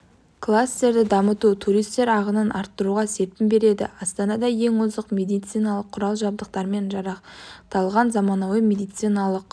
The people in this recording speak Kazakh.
кластерді дамыту туристер ағынын арттыруға серпін береді астанада ең озық медициналық құрал-жабдықтармен жарақталған заманауи медициналық